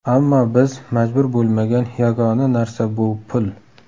Ammo biz majbur bo‘lmagan yagona narsa bu pul.